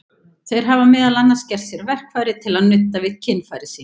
Þeir hafa meðal annars gert sér verkfæri til að nudda við kynfæri sín.